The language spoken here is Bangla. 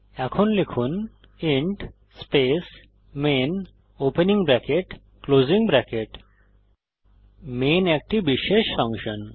এখন লিখুন int space main opening bracket closing bracket main একটি বিশেষ ফাংশন